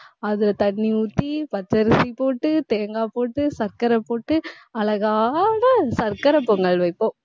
அதுல தண்ணி ஊத்தி, பச்சரிசி போட்டு தேங்காய் போட்டு சர்க்கரை போட்டு அழகாக சர்க்கரைப் பொங்கல் வைப்போம்.